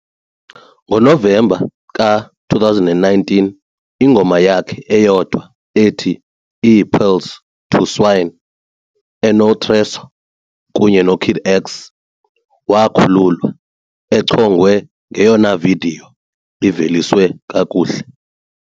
NgoNovemba ka-2019, ingoma yakhe eyodwa ethi "IiPearls To Swine" ene-TRESOR kunye no-Kid X wakhululwa, echongwe ngeyona vidiyo iVeliswe kakuhle.